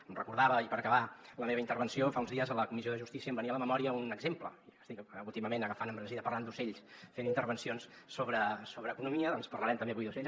em recordava i per acabar de la meva intervenció fa uns dies a la comissió de justícia em venia a la memòria un exemple estic últimament agafant embranzida parlant d’ocells fent intervencions sobre economia doncs parlarem avui també d’ocells